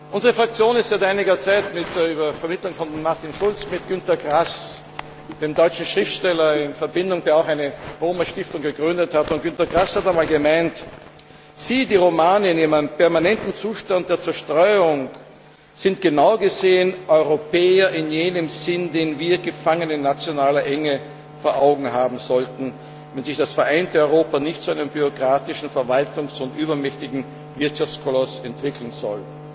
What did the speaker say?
Unsere Fraktion steht seit einiger Zeit unter Vermittlung von Martin Schulz mit Günter Grass, dem deutschen Schriftsteller, in Verbindung, der auch eine Roma Stiftung gegründet hat. Günter Grass hat einmal gesagt Sie, die Romani, in ihrem permanenten Zustand der Zerstreuung, sind genau gesehen Europäer in jenem Sinn, den wir, gefangen in nationaler Enge, vor Augen haben sollten, wenn sich das vereinte Europa nicht zu einem bürokratischen Verwaltungs und übermächtigen Wirtschaftskoloss entwickeln soll.